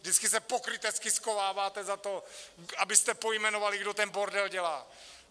Vždycky se pokrytecky schováváte za to, abyste pojmenovali, kdo ten bordel dělá.